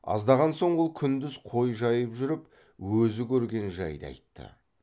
аздаған соң ол күндіз қой жайып жүріп өзі көрген жайды айтты